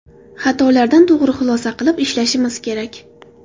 Xatolardan to‘g‘ri xulosa qilib ishlashimiz kerak.